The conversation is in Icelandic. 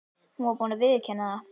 Hún var búin að viðurkenna það.